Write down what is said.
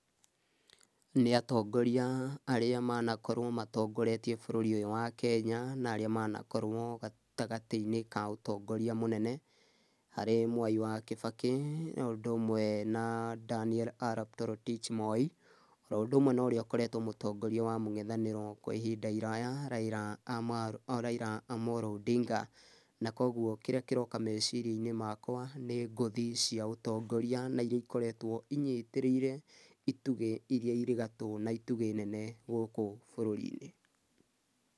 Nĩ atongoria arĩa manakorwo matongoretie bũrũri ũyũ wa Kenya na arĩa manakorwo gatagatĩ-inĩ ka ũtongoria mũnene, harĩ Mwai wa Kibakĩ o ũndũ ũmwe na Daniel Arap Torotich Moi, oro ũndũ ũmwe na ũrĩa ũkoretwo arĩ mũtongoria wa mũng'ethanĩro kwa ihinda iraya Raila Amolo Odinga, na kũguo kĩrĩa kĩroka meciria-inĩ makwa, nĩ ngũthi cia ũtongoria na iria ikoretwo inyitĩrĩire, itugĩ iria irĩ gatũ na itugĩ nene gũkũ bũrũri-inĩ.